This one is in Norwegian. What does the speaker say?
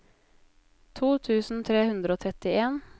to tusen tre hundre og trettien